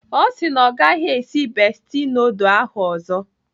Ọ sị na ọ gaghị esi bestie nudul ahụ ọzọ.